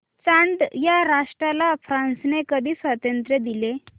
Chad या राष्ट्राला फ्रांसने कधी स्वातंत्र्य दिले